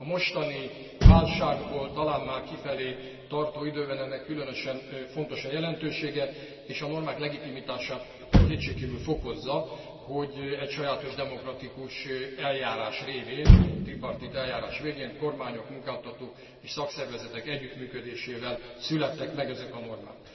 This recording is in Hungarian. A mostani válságból talán már kifelé tartó időben ennek különösen fontos a jelentősége, és a normák legitimitását kétségkívül fokozza, hogy egy sajátos demokratikus eljárás révén tripartit eljárás végén kormányok, munkáltatók és szakszervezetek együttműködésével születtek meg ezek a normák.